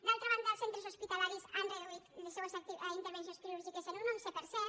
d’altra banda els centres hospitalaris han reduït les seues intervencions quirúrgiques en un onze per cent